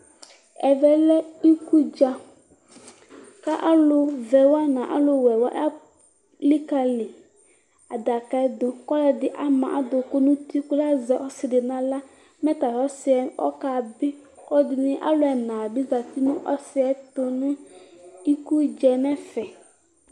Ɛvɛ lɛ ikudza kʋ alʋvɛwa nʋ alʋwɛwa elikali adaka yɛdu kʋ ɔlʋɛdi ama adʋkʋ nʋ uti kʋ azɛ ɔsidi nʋ aɣla mɛ tatʋ ɔsi yɛ kabi kʋ alʋ ɛnadi zati nʋ ɔsiɛtʋ nʋ iku dza yɛ nʋ ɛfɛ